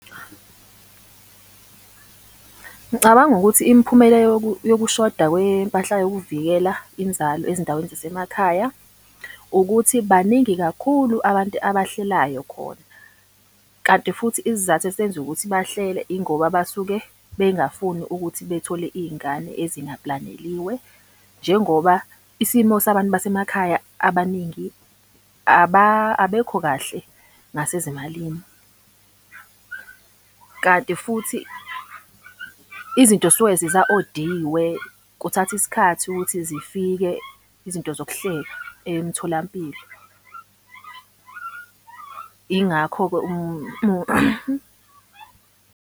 Ngicabanga ukuthi imiphumela yokushoda kwempahla yokuvikela inzalo ezindaweni zasemakhaya ukuthi baningi kakhulu abantu abahlelayo khona. Kanti futhi isizathu esenza ukuthi bahlele ingoba basuke bengafuni ukuthi bethole iy'ngane ezinga-plan-eliwe. Njengoba isimo sabantu basemakhaya abaningi abekho kahle ngasezimalini. Kanti futhi izinto zisuke ziza-odiwe, kuthatha isikhathi ukuthi zifike izinto zokuhlela emtholampilo. Ingakho-ke .